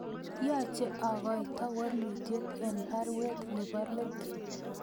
Yoche agoito waluutyet en baruet nebo let